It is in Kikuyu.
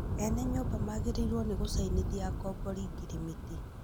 Ene nyũmba magĩrĩirwo nĩ gũcainithia akombori ngirimiti